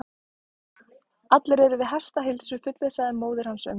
Allir eru við hestaheilsu, fullvissaði móðir hans um.